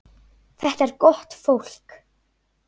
Þetta er gott fólk.